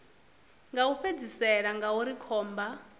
ya u fhedzisela ngauri khomba